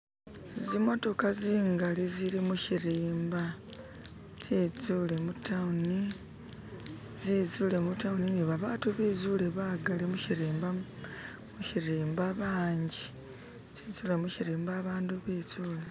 zimotoka zingali zili mushirimba tsetsule mutawuni zezule mutawuni nibabatu bagali bezule mushirimba banji tsetsule mushirimba abandu betsule